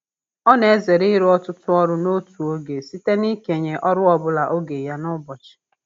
Ọ na-ezere ịrụ ọtụtụ ọrụ n'otu oge site n'ikenye ọrụ ọbụla oge ya n'ụbọchị.